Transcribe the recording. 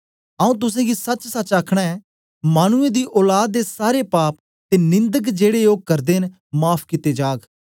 आऊँ तुसेंगी सचसच आखना ऐं मानुऐं दी औलाद दे सारे पाप ते निन्दक जेड़े ओ करदे न माफ़ कित्ते जाग